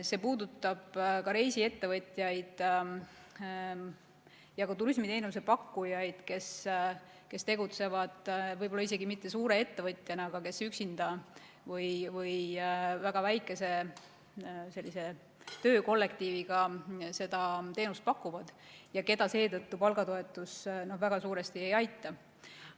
See puudutab ka reisiettevõtjaid ja turismiteenuse pakkujaid, kes tegutsevad võib-olla isegi mitte suure ettevõtjana, aga kes üksinda või väga väikese töökollektiiviga seda teenust pakuvad ja keda seetõttu palgatoetus väga suuresti ei aita.